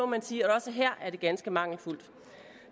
man sige at også her er det ganske mangelfuldt